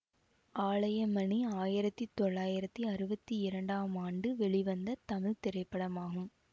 ஆலயமணி ஆயிரத்தி தொள்ளாயிரத்தி அறுவத்தி இரண்டாம் ஆண்டு வெளிவந்த தமிழ் திரைப்படமாகும்